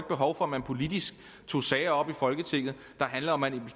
behov for at man politisk tog sager op i folketinget der handler om at